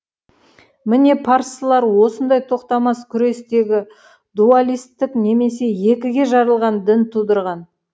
міне парсылар осындай тоқтамас күрестегі дуалистік немесе екіге жарылған дін тудырған